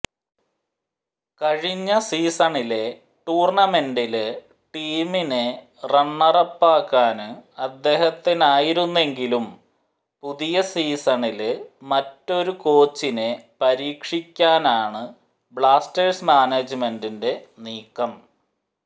കഴിഞ്ഞ സീസണിലെ ടൂര്ണമന്റില് ടീമിനെ റണ്ണറപ്പാക്കാന് അദ്ദേഹത്തിനായിരുന്നെങ്കിലും പുതിയ സീസണില് മറ്റൊരു കോച്ചിനെ പരീക്ഷിക്കാനാണ് ബ്ലാസ്റ്റേഴ്സ് മാനേജ്മെന്റിന്റെ നീക്കം